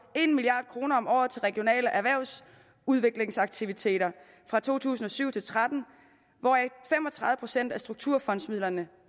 en milliard kroner om året til regionale erhvervsudviklingsaktiviteter fra to tusind og syv til tretten hvoraf fem og tredive procent af strukturfondsmidlerne